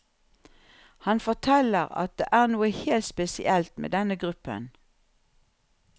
Han forteller at det er noe helt spesielt med denne gruppen.